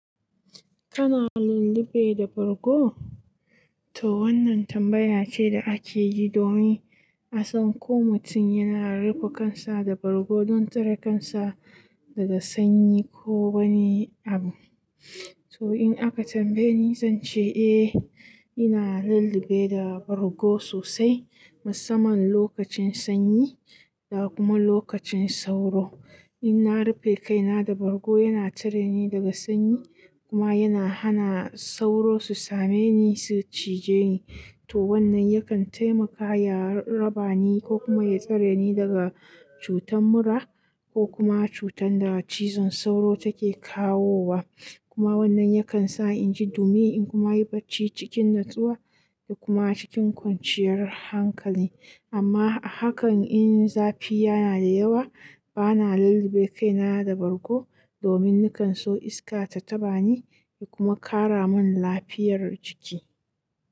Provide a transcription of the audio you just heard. Kana lullube da bargo? To wannan tambaya ce da ake yi domin a san ko mutum yana rufe kansa da bargo don tsare kansa daga sanyi ko wani abu. To in aka tambaye ni, zan ce eh, ina lullube da bargo sosai musamman lokacin sanyi da kuma lokacin sauro. In na rufe kaina da bargo, yana tsare ni daga sanyi kuma yana hana sauro su same ni su cije ni. To wannan yakan taimaka ya raba ni ko kuma ya tsare ni daga cutar mura ko kuma cutar da cizon sauro take kawowa. Kuma wannan yakan sa inji dumi in kuma yi barci cikin nutsuwa da kuma cikin kwanciyar hankali. Amma a hakan in zafi yana da yawa, bana lullube kaina da bargo domin nakan so iska ta taɓa ni, ya kuma ƙara min lafiyar jiki.